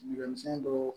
dɔw